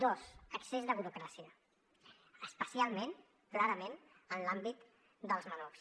dos excés de burocràcia especialment clarament en l’àmbit dels menors